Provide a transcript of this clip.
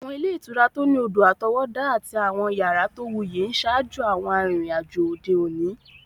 Àwọn ilé ìtura tó ní odò-àtọwọ́dá àti àwọn yàrá tó wuyì ń ṣaájò àwọn arìnrìn-àjò òde òní.